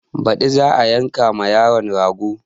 Baɗi za a yanka ma yaron rago